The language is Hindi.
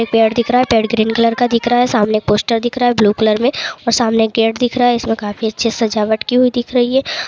पेड़ दिख रहा है पेड़ ग्रीन कलर का दिख रहा है सामने पोस्टर दिख रहा है ब्लू कलर में और सामने गेट दिख रहा हैइसमें काफी अच्छे सजावट की हुई दिख रही है।